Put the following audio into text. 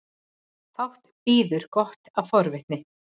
Fátt bíður gott af forvitninni.